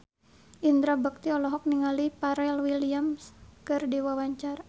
Indra Bekti olohok ningali Pharrell Williams keur diwawancara